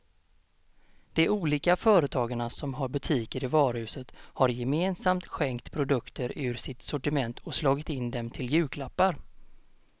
De olika företagarna som har butiker i varuhuset har gemensamt skänkt produkter ur sitt sortiment och slagit in dem till julklappar.